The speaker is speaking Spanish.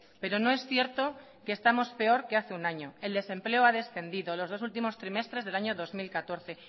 pero no es cierto que estamos peor que hace un año el desempleo ha descendido en los dos últimos trimestres del año dos mil catorce